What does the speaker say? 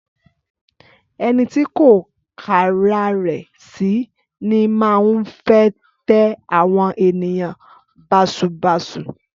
Ẹnítì kọ kàràrẹ sí, ni màhún fẹ tẹ awon ẹniyàn bàsúbasú.